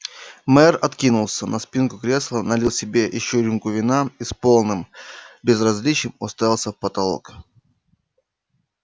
мэр откинулся на спинку кресла налил себе ещё рюмку вина и с полным безразличием уставился в потолок